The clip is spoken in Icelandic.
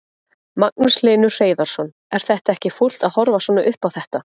Magnús Hlynur Hreiðarsson: Er þetta ekki fúlt að horfa svona upp á þetta?